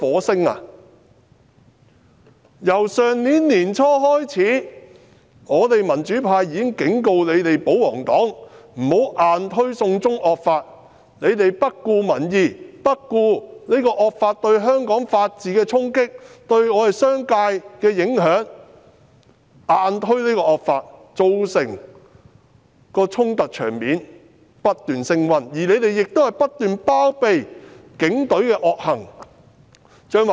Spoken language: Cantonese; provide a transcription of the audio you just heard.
自去年年初開始，我們民主派已經警告保皇黨不要硬推"送中惡法"，他們卻不顧民意、不顧惡法對香港法治的衝擊、對商界的影響硬推這惡法，造成衝突場面不斷升溫，更不斷包庇警隊的惡行。